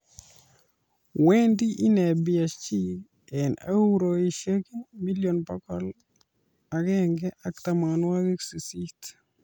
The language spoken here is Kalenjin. Wendi inne PSG eng Euroishek million bokol agenge ak tamanwokik sisit